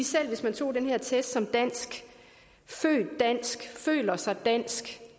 selv hvis man tog i den her test som dansk født dansk føler sig dansk